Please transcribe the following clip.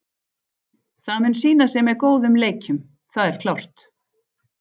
Það mun sýna sig með góðum leikjum, það er klárt.